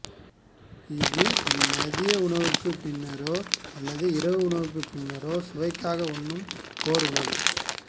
இது மதியுணவுக்குப் பின்னரோ அல்லது இரவு உணவுக்குப் பின்னரோ சுவைக்காக உண்ணும் ஒரு உணவு